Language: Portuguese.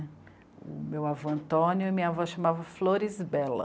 O meu avô Antônio e minha avó chamava Floresbella.